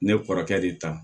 Ne kɔrɔkɛ de ta